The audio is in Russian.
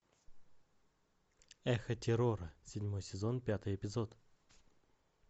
эхо террора седьмой сезон пятый эпизод